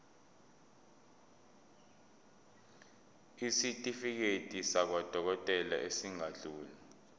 isitifiketi sakwadokodela esingadluli